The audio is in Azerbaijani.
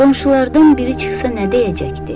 Qonşulardan biri çıxsa nə deyəcəkdi?